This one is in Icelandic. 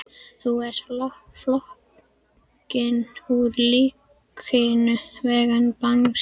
Þú ert floginn úr lífríkinu, vængjaði Bangsi.